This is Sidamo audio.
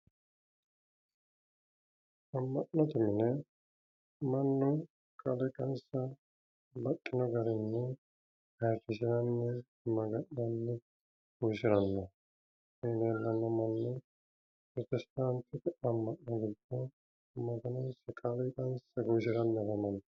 ama'note mine mannu kaaliqansa baxxino garinni ayiirrisiranni maga'nanni guwisiranni maganonsa galaxanni afamanno koye la'neemmo manni pirotestaantete ama'no giddo maganonsa woyi kaaliiqansa guwisiranni afamanno.